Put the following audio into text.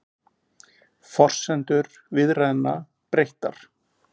Forsendur viðræðna breyttar